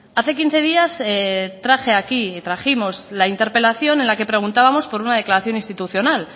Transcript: hace quince días traje aquí trajimos la interpelación en la que preguntábamos por una declaración institucional